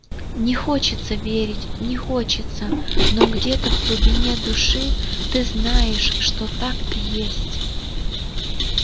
не хочется верить не хочется но где-то в глубине души ты знаешь что так и есть